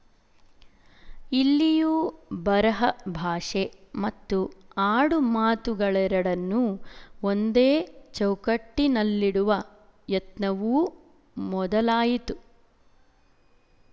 ಇಲ್ಲಿಯೂ ಬರೆಹ ಭಾಷೆ ಮತ್ತು ಆಡು ಮಾತುಗಳೆರಡನ್ನೂ ಒಂದೇ ಚೌಕಟ್ಟಿನಲ್ಲಿಡುವ ಯತ್ನವೂ ಮೊದಲಾಯಿತು